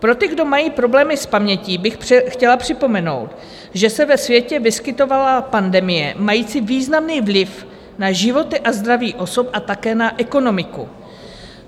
Pro ty, kdo mají problémy s pamětí, bych chtěla připomenout, že se ve světě vyskytovala pandemie mající významný vliv na životy a zdraví osob a také na ekonomiku.